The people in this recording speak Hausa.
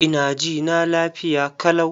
Ina jina lafiya kalau.